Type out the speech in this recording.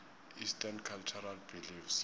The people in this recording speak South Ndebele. eastern cultural beliefs